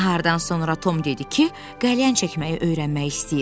Nahardan sonra Tom dedi ki, qəlyan çəkməyi öyrənmək istəyir.